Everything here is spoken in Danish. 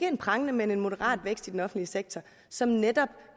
en prangende men en moderat vækst i den offentlige sektor som netop